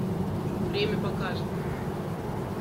время покажет